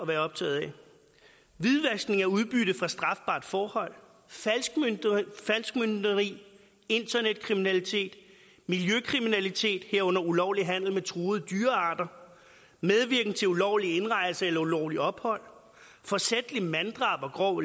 være optaget af hvidvaskning af udbytte fra strafbart forhold falskmøntneri internetkriminalitet miljøkriminalitet herunder ulovlig handel med truede dyrearter medvirken til ulovlig indrejse eller ulovligt ophold forsætligt manddrab og grov